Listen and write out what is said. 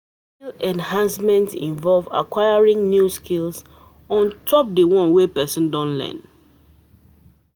Skill enhancement invove acquiring new skills ontop di one wey person don learn